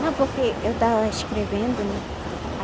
Não, porque eu estava escrevendo, né?